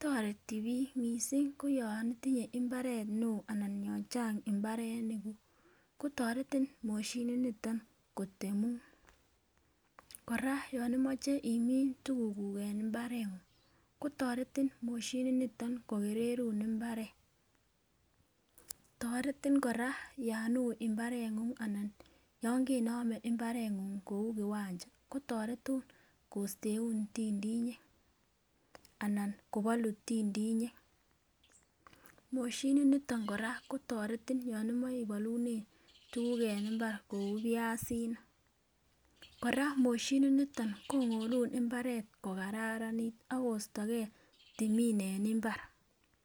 toreti bik missing koyon itinyee imbaret neo anan yon chang imbarenik kuk kotoreti moshinit niton kotemun. Koraa yon imoche imin tukuk kuuk en imbarenguny kotoreti moshinit niton kokererun imbaret, toretin koraa yon hi imbarenguny yon kenomen imbarenguny kou kiwancha kotoretin kosteun tindinyek anan kobolu tindinyek. Moshinit niton Koraa kotoreti yon imoche ibolune tukuk en imbar kou piasinik, Koraa moshinit niton kongolun imbaret ko kararanit akostogee timin en imbar.